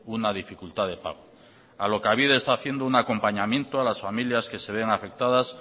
una dificultad de pago alokabide está haciendo un acompañamiento a las familias que se ven afectadas